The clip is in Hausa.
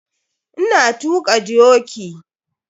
Ina tuaka dioki.